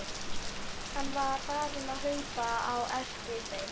Hann var farinn að hlaupa á eftir þeim!